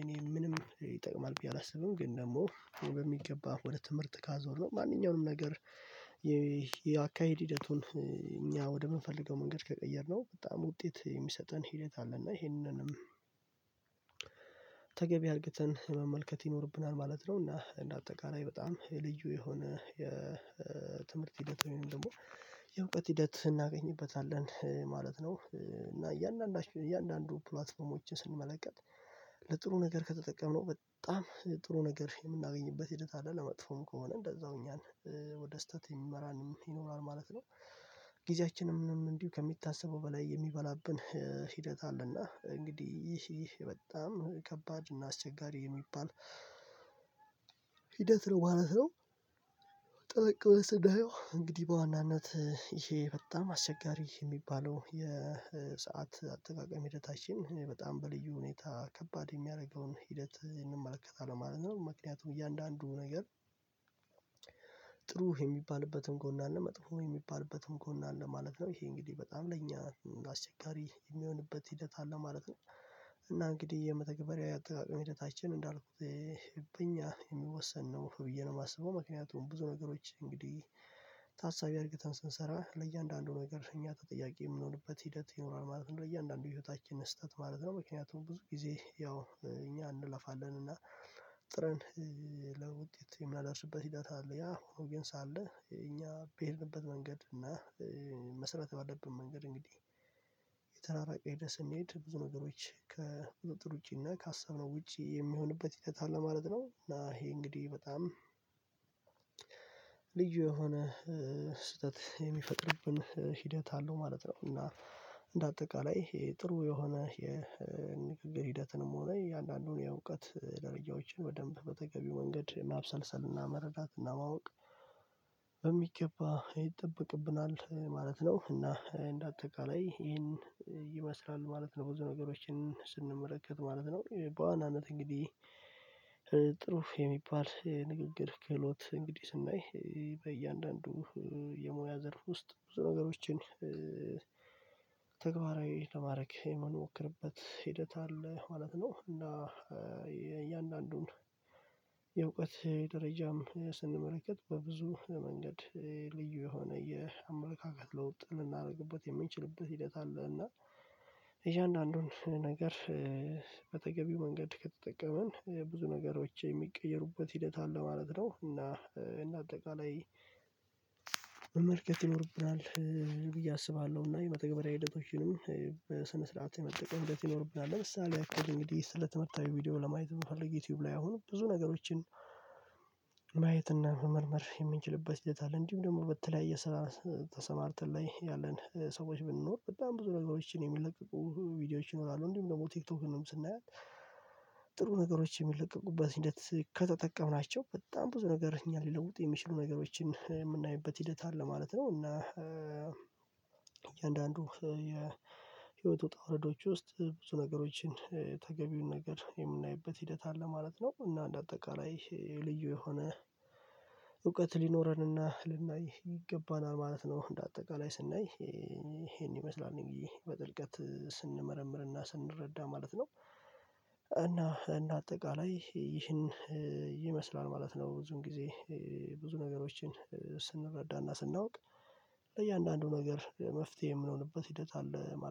እኔ ምንም ይጠቅማል ብዬ አላስብም። ግን ደግሞ እኔ በሚገባ ወደ ትምህርት ካዞርነው ማንኛውንም ነገር የአካሄድ ሂደቱን እኛ ወደምንፈልገው መንገድ ከቀየርነው በጣም ውጤት የሚሰጠን ሂደት አለ እና ይሄንንም አልቅተን መመልከት ይኖርብናል ማለት ነው። እና እንደ አጠቃላይ በጣም የልዩ የሆነ የትምህርት ሂደት ወይም ደግሞ የእውቀት ሂደት እናገኝበታለን ማለት ነው። እና እያንዳንዱ እያንዳንዱ ፕላትፎርሞችን ስንመለከት ለጥሩ ነገር ከተጠቀምነው በጣም ጥሩ ነገር የምናገኝበት ሂደት አለ እና መጥፎም ከሆነ እንደዛው እኛን ወደ ስህተት የሚመራን ይኖራል ማለት ነው። ጊዜያችንንም እንዲሁ ከሚታሰበው በላይ የሚበላብን ሂደት አለና እንግዲህ ይህ ይህ በጣም ከባድ እና አስቸጋሪ የሚባል ሂደት ነው ማለት ነው። ጠለቅ ብለን ስናየው እንግዲህ በዋናነት ይሄ በጣም አስቸጋሪ የሚባለው የሰዓት አጠቃቀም ሂደታችን በጣም በልዩ ሁኔታ ከባድ የሚያደርገውን ሂደት እንመለከታለን ማለት ነው። ምክንያቱም እያንዳንዱ ነገር ጥሩ የሚባልበትም ጎን አለ መጥፎ የሚባልበትም ጎን አለ ማለት ነው ይሄ እንግዲህ በጣም ለእኛ አስቸጋሪ የሚሆንበት ሂደት አለ ማለት ነው። እና እንግዲህ የመተግበሪያ አጠቃቀም ሂደታችን እንዳልኩት በእኛ የሚወሰን ነው ብዬ ነው የማስበው ምክንያቱም ብዙ ነገሮች እንግዲህ ታሳቢ አድርገን ስንሰራ ለእያንዳንዱ ነገር እኛ ተጠያቂ የምንሆንበት ሂደት ይኖራል ማለት ነው። ለእያንዳንዱ የህይወታችን ስህተት ማለት ነው ምክንያቱም ብዙ ጊዜ ያው እኛ እንለፋለን እና ጥረን ለውጤት የምናደርስበት ሂደት አለ። ያ ሆኖ ግን ሳለ እኛ በሄድንበት መንገድ እና መስራት ባለብን መንገድ እንግዲህ የተራራቀ ሄደህ ስንሄድ ብዙ ነገሮች ከቁጥጥር ውጪ እና ካሰብነው ውጪ የሚሆንበት ሂደት አለ ማለት ነው። እና ይሄ እንግዲህ በጣም ልዩ የሆነ ስህተት የሚፈጥርብን ሂደት አለው ማለት ነው። እና እንደ አጠቃላይ ይሄ ጥሩ የሆነ የንግግር ሂደትንም ሆነ የእንዳንዱን የእውቀት ደረጃዎችን በደንብ በተገቢው መንገድ ማብሰልሰል፤ መረዳትና ማወቅ በሚገባ ይጠበቅብናል ማለት ነው። እና እንደ አጠቃላይ ይሄን ይመስላል ማለት ነው። ብዙ ነገሮችን ስንመለከት ማለት ነው በዋናነት እንግዲህ ጥሩ የሚባል ንግግር ክህሎት እንግዲህ ስናይ በእያንዳንዱ የሙያ ዘርፍ ውስጥ ብዙ ነገሮችን ተግባራዊ ለማድረግ የምንሞክርበት ሂደት አለ ማለት ነው። እና የእያንዳንዱን የእውቀት ደረጃም ስንመረከት በብዙ መንገድ ልዩ የሆነ የአመለካከት ለውጥ ልናደርግበት የምንችልበት ሂደት አለ እና የዚህ አንዳንዱን ነገር በተገቢው መንገድ ከተጠቀምን ብዙ ነገሮች የሚቀየሩበት ሂደት አለ ማለት ነው። እና እንደ አጠቃላይ መመልከት ይኖርብናል ብዬ አስባለሁ። እና የመተግበሪያ ሂደቶችንም በስነ ስርዓት የመጠቀም ሂደት ይኖርብናል ለምሳሌ ያህል እንግዲህ ስለ ትምህርታዊ ቪዲዮ ለማየት ብንፈልግ ዩቲዩብ ላይ አሁን ብዙ ነገሮችን ማየት እና መመርመር የምንችልበት ሂደት አለ። እንዱሁም ደግሞ በተለያየ ስራ ተሰማርተን ላይ ያለን ሰዎች ብንኖር በጣም ብዙ ነገሮችን የሚለቅቁ ቪዲዮዎች ይኖራሉ እንዲሁም ደግሞ ቲክቶክንም ስናያት ጥሩ ነገሮች የሚለቀቁበት ሂደት ከተጠቀምናቸው በጣም ብዙ ነገር እኛን ሊለውጥ የሚችሉ ነገሮችን የምናይበት ሂደት አለ ማለት ነው። እና እያንዳንዱ የህይወት ውጣ ውረዶች ውስጥ ብዙ ነገሮችን ተገቢውን ነገር የምናይበት ሂደት አለ ማለት ነው። እና እንደ አጠቃላይ ልዩ የሆነ እውቀት ሊኖረንና ልናይ ይገባናል ማለት ነው። እንደ አጠቃላይ ስናይ ይሄን ይመስላል እንግዲህ በጥልቀት ስንመረምርና ስንረዳ ማለት ነው። እና እንደ አጠቃላይ ይህን ይመስላል ማለት ነው። ብዙን ጊዜ ብዙ ነገሮችን ስንረዳና ስናውቅ ለእያንዳንዱ ነገር መፍትሄ የምንሆንበት ሂደት አለ።